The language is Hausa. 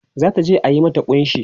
zata je a mata kunshi